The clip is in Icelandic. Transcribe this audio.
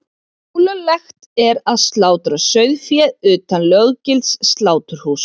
Ólöglegt er að slátra sauðfé utan löggilts sláturhúss.